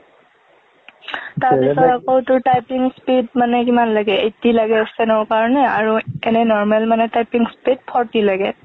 তাৰ পিছত আকো তোৰ typing speed, মানে কিমান লাগে, eighty লাগে steno ৰ কাৰণে আৰু এনে normal মানে typing speed forty লাগে।